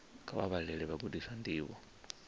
kha vha vhalele vhagudiswa ndivho